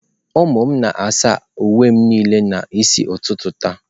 Ụmụ m na-asa uwe m niile n'isi ụtụtụ taa.